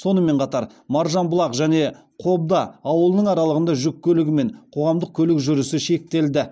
сонымен қатар маржанбұлақ және қобда ауылының аралығында жүк көлігі мен қоғамдық көлік жүрісі шектелді